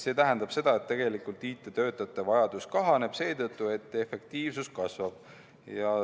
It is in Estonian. See tähendab seda, et tegelikult IT‑töötajate vajadus kahaneb, seetõttu et efektiivsus kasvab.